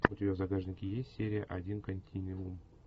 у тебя в загашнике есть серия один континуум